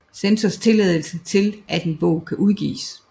Censors tilladelse til at en bog kan udgives